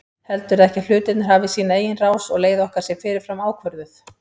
Heldurðu ekki að hlutirnir hafi sína eigin rás og leið okkar sé fyrirfram ákvörðuð?